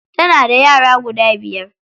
Tana da yara guda biyar.